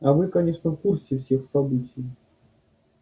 а вы конечно в курсе всех событий